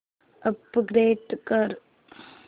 upgrade कर